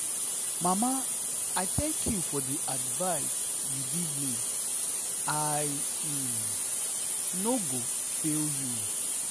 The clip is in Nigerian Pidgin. mama i thank you for the advice you give me i um no go fail you.